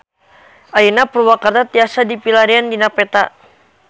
Ayeuna Purwakarta tiasa dipilarian dina peta